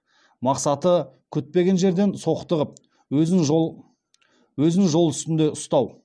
мақсаты күтпеген жерден соқтығып өзін жол үстінде ұстау